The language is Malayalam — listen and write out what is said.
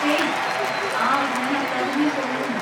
ഹേയ്! ആ, ഞാൻ അക്കാദമിയിൽ പോയിരുന്നു.